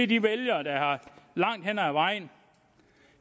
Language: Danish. de vælgere der langt hen ad vejen